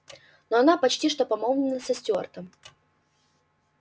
но она почти что помолвлена со стюартом